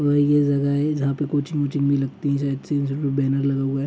और यह जगह है जहाँ कोचिंग वॉचिंग भी लगती है लगा हुआ है।